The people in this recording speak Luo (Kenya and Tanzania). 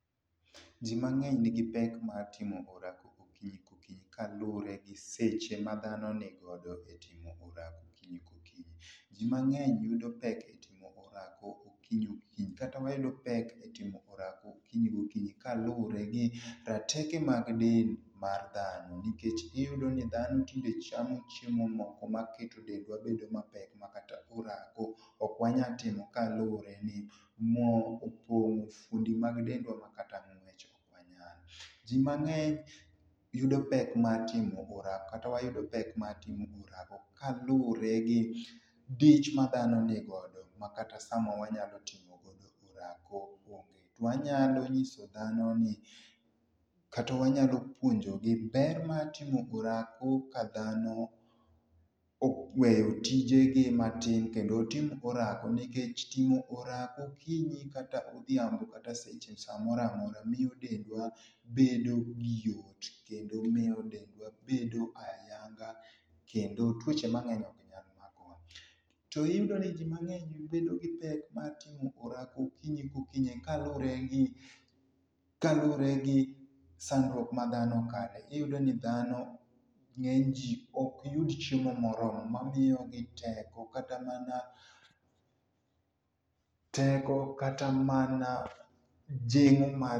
jii mangeny nigi pek mar timo orako okinyi ka okinyi kaluore gi seche ma dhano ni godo e timo orako okinyi ka okinyi. Jii mangeny yudo pek e timo orako okinyi okinyi kata mayudo pek e yudo orako okinyi gokinyi kaluore kod rateke mag del mar dhano nikech iyudo ni dhano tinde chamo chiemo moko maketo dendwa bedo mapek makata orako ok wanyal timo kaluore ni moo opongo fuondi mag dendwa makata ngwech ok wanyal. Jii mangeny yudo pek mar timo orako kata wayudo pek mar timo orako kaluore gi dich ma dhano nigodo makata sama wanyalo timo godo orako onge. To wanyalo nyiso dhano ni kata wanyalo puonjogi ber mar timo orako ka dhano oweyo tijegi matin kendo tim orako nikech timo orako okinyi kata odhiambo kata seche samoro amora ,miyo dendwa bedo gi yot kendo miyo dendwa bedo ayanga kendo tuoche mangeny ok nyal makowa. To iyudo ni jii mangeny bedo gi pek mar timo orako okinyi ka oKinyi kaluore gi kaluore gi sandruok ma dhano kale, iyudo ni dhano, ngeny jii ok yud chiemo moromo ma miyogi teko katamana, teko kata mana jingo mar...